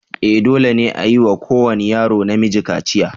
E! dole ne a yi wa kowane yaro namiji kaciya.